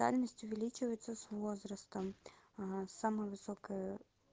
дальность увеличивается с возрастом самая высокая